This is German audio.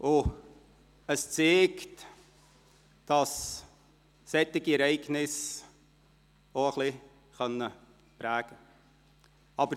Dies zeigt, dass solche Ereignisse auch ein wenig prägen können.